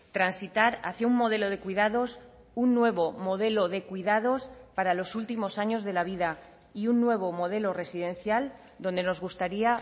transitar hacia un modelo de cuidados un nuevo modelo de cuidados para los últimos años de la vida y un nuevo modelo residencial donde nos gustaría